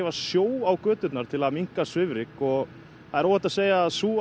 sjó á göturnar til að minka svifryk og það er óhætt að segja að sú